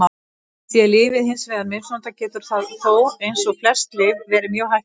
Sé lyfið hins vegar misnotað getur það þó, eins og flest lyf, verið mjög hættulegt.